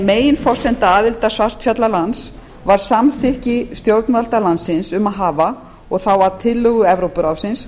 meginforsenda aðildar var samþykki stjórnvalda svartfjallalands um að hafa sjö meginreglur að tillögu evrópuráðsins